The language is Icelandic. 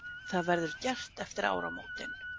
Það verður gert eftir áramótin